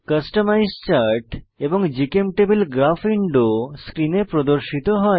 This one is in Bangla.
কাস্টমাইজ চার্ট এবং জিচেমটেবল গ্রাফ উইন্ডো স্ক্রিনে প্রদর্শিত হয়